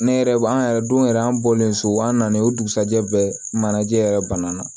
Ne yɛrɛ an yɛrɛ don yɛrɛ an bɔlen so an na o dugusajɛ bɛɛ manajɛ yɛrɛ bana na